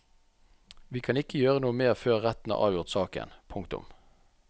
Vi kan ikke gjøre noe mer før retten har avgjort saken. punktum